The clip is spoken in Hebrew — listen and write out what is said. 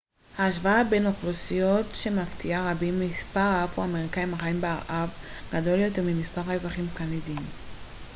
השוואה בין אוכלוסיות שמפתיעה רבים מספר האפרו-אמריקאים החיים בארה ב גדול יותר ממספר האזרחים הקנדים